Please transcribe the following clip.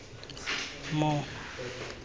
more